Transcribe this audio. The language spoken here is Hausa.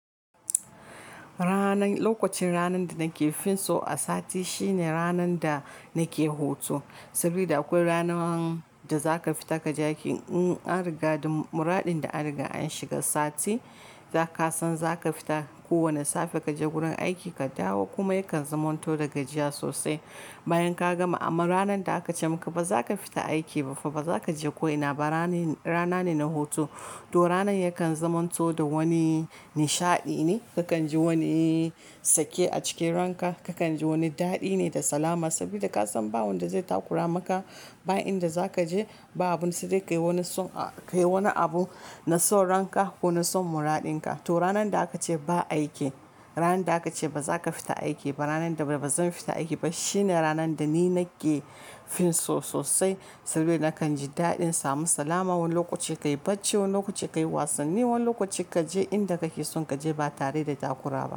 Ranar, lokacin ranar da nake fin so a sati shine ranar da nake hutu. Saboda akwai ranar da zaka fita ka je aiki. In an riga dun muraɗin da an riga an shiga sati zaka san zaka fita kowane safe kaje gurin aikinka dawo kuma yakan zamanto da gajiya sosai bayan ka gama. Amma ranar da aka ce maka ba zaka fita aiki ba ba zaka je ko'ina ba rana rana ne na hutu. To ranar yakan zamanto da wani nishaɗi ne. Kakan ji wani sake a cikin ranka, kakan ji wani daɗi ne da salama. Saboda ka san ba wanda zai takura maka ba inda zaka je ba abun sa dai ya kai wani son a kai wani abu na son ranka ko na son muraɗin ka. To ranar da aka ce ba aiki, ranar da aka ce ba za ka fita aiki ba, ranar da ba zan fita aiki ba shine ranar da ni nake fin so sosai. Saboda nakan ji daɗin samun salama. Wani lokaci ka yi bacci, wani lokaci ka yi wasanni, wani lokaci kaje inda kake son kaje ba tare da takura ba.